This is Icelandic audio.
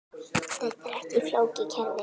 Þetta er ekki flókið kerfi.